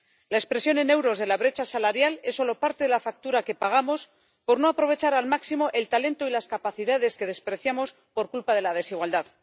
La expresión en euros de la brecha salarial es solo parte de la factura que pagamos por no aprovechar al máximo el talento y las capacidades que despreciamos por culpa de la desigualdad.